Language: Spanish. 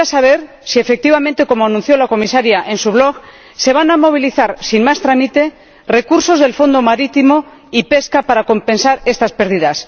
Quisiera saber si, efectivamente, como anunció la Comisaria en su blog se van a movilizar, sin más trámite, recursos del Fondo Marítimo y de Pesca para compensar estas pérdidas